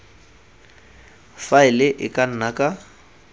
faele e ka nna ka